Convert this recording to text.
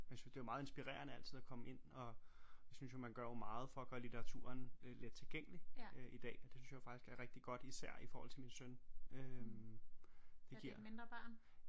Og jeg synes det var meget inspirerende altid at komme ind og jeg synes jo man gør jo meget for at gøre litteraturen lettilgængelig i dag og det synes jeg jo faktisk er rigtig godt især i forhold til min søn øh det giver